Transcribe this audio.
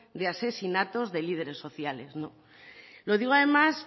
de asesinatos de líderes sociales lo digo además